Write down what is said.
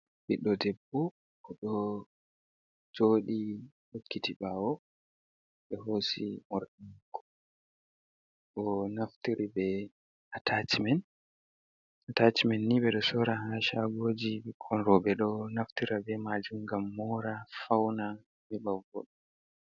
Ɓiɗdo debbo oɗo joɗi hokkiti ɓawo. Ɓe hosi morɗi ɗo. Onaftiri be atachimen, atachimenni ɓe ɗo Sora ha shagoji ɓikkon roɓe ɗo Naftira be Majum ngam Mora fauna heɓa voda.